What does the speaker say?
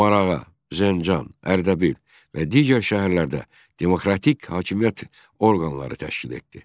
Marağa, Zəncan, Ərdəbil və digər şəhərlərdə demokratik hakimiyyət orqanları təşkil etdi.